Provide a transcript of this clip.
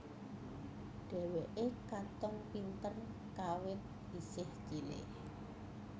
Dheweke katon pinter kawit isih cilik